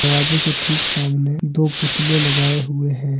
दरवाजे के ठीक सामने दो पुतले लगाए हुए हैं।